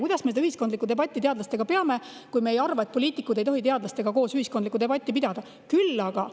Kuidas me teadlastega ühiskondlikku debatti peame, kui me arvame, et poliitikud ei tohi nendega ühiskondlikku debatti pidada?